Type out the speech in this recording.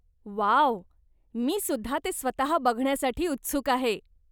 Wow! मी सुद्धा ते स्वतः बघण्यासाठी उत्सुक आहे.